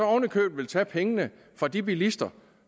oven i købet tage pengene fra de bilister